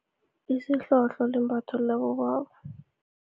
Isihlohlo limbatho labobaba.